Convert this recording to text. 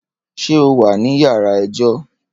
Ṣé o wà ní yàrá ẹjọ́?